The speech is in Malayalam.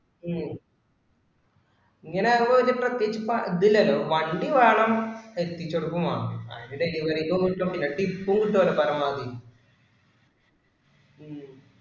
ഉം ഇങ്ങനാകുമ്പോ ഇതിന് പ്രത്യേകിച്ച് ഇതില്ലല്ലോ. വണ്ടി വേണം എത്തിച്ചു കൊടുക്കും വേണം. ആരും delivery ക്കു കൊടുക്കുമൊന്നും ഇല്ല. Tip ഉം കിട്ടുല്ലോ പരമാവധി ഉം